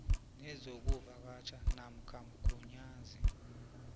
nezokuvakatjha namkha mgunyazi